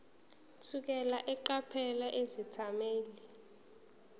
thukela eqaphela izethameli